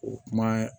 O kuma